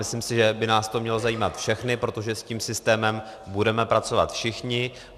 Myslím si, že by nás to mělo zajímat všechny, protože s tím systémem budeme pracovat všichni.